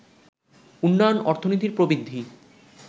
উন্নয়ন অর্থনীতির প্রবৃদ্ধি